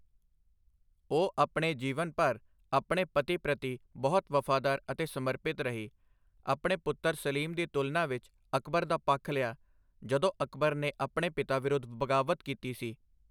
ਉਹ ਆਪਣੇ ਜੀਵਨ ਭਰ ਆਪਣੇ ਪਤੀ ਪ੍ਰਤੀ ਬਹੁਤ ਵਫ਼ਾਦਾਰ ਅਤੇ ਸਮਰਪਿਤ ਰਹੀ, ਆਪਣੇ ਪੁੱਤਰ ਸਲੀਮ ਦੀ ਤੁਲਨਾ ਵਿੱਚ ਅਕਬਰ ਦਾ ਪੱਖ ਲਿਆ, ਜਦੋਂ ਅਕਬਰ ਨੇ ਆਪਣੇ ਪਿਤਾ ਵਿਰੁੱਧ ਬਗਾਵਤ ਕੀਤੀ ਸੀ।